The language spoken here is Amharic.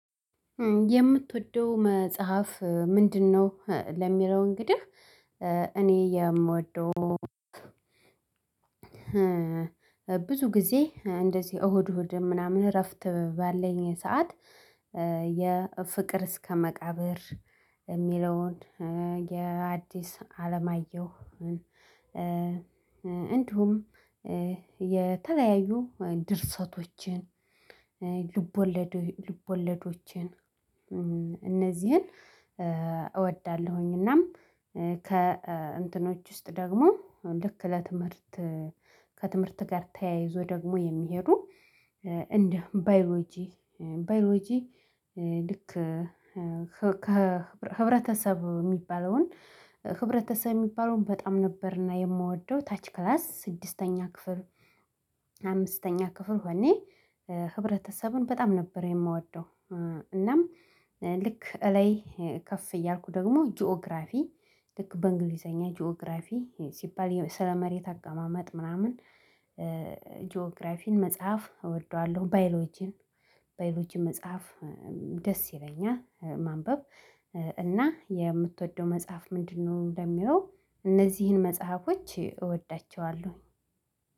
የምትወደው መጽሐፍ ምንድነው? ለሚለው እንግዲህ እኔ የምወደው ብዙ ጊዜ እንደዚህ እሁድ እሁድ ምናምን እረፍት ባለኝ ሰዓት። የፍቅር እስከ መቃብር የሚለውን የአዲስ አለማየሁ እንዲሁም የተለያዩ ድርሰቶችን ልቦለዶችን እነዚህን እወዳለሁኝ። እናም ከእንትኖች ውስጥ ደግሞ ልክ ለትምህርት ከትምህርት ጋር ተያይዞ ደግሞ የሚሄዱ እንደ ባዮሎጂ ባዮሎጂ ልክ ከህብረተሰብ ሚባለውን ህብረተሰብ ሚባለውን በጣም ነበርና የምወደው። ታች ክላስ ስድስተኛ ክፍል አምስተኛ ክፍል ሆኔ ህብረተሰቡን በጣም ነበር የምወደው። እናም ልክ እላይ ከፍ እያልኩ ደግሞ ጂኦግራፊ ልክ በእንግሊዘኛ ጂኦግራፊ ሲባል ስለ መሬት አቀማመጥ ምናምን። ጂኦግራፊን መጽሐፍ እወደዋለሁ ባይሎጂን ባዮሎጂን መጽሐፍ ደስ ይለኛል ማንበብ። እና የምትወደው መጽሐፍ ምንድነው? እንደሚለው እነዚህን መጽሐፎች እወዳቸዋለሁኝ።